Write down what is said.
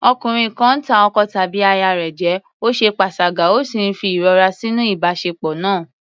Ọkùnrin kan ń tàn ọkọ tàbí aya rẹ̀ jẹ, ó ṣe panṣágà ó sì ń fa ìrora nínú ìbáṣepọ̀ náà.